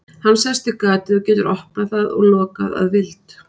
hann sest við gatið og getur opnað það og lokað að vild